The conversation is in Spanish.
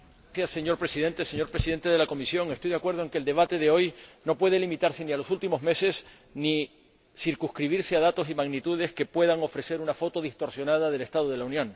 Señor Presidente, señor Presidente de la Comisión, estoy de acuerdo en que el debate de hoy no puede limitarse a los últimos meses ni circunscribirse a datos y magnitudes que puedan ofrecer una foto distorsionada del estado de la Unión.